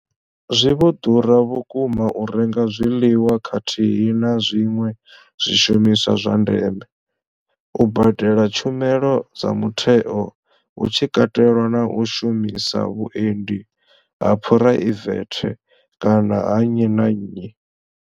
Zwi vho ḓura vhukuma u renga zwiḽiwa khathihi na zwiṅwe zwishumiswa zwa ndeme, u badela tshumelo dza mutheo hu tshi katelwa na u shumisa vhuendi ha phuraivethe kana ha nnyi na nnyi.